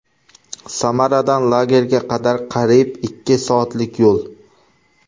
Samaradan lagerga qadar qariyb ikki soatlik yo‘l.